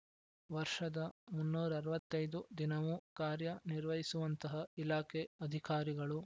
ವರ್ಷದ ಮುನ್ನೂರ ಅರವತ್ತ್ ಐದು ದಿನವೂ ಕಾರ್ಯ ನಿರ್ವಹಿಸುವಂತಹ ಇಲಾಖೆ ಅಧಿಕಾರಿಗಳು